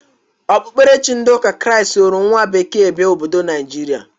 Okpukperechi ndị ụka kraist soro nwa bekee bịa obodo Naijiria.